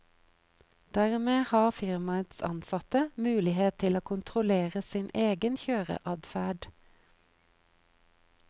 Dermed har firmaets ansatte mulighet til å kontrollere sin egen kjøreadferd.